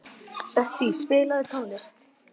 Betsý, spilaðu tónlist.